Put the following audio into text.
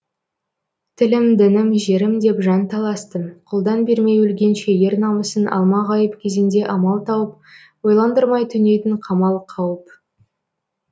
тілім дінім жерім деп жан таласты қолдан бермей өлгенше ер намысын алмағайып кезеңде амал тауып ойландырмай төнетін қамал қауіп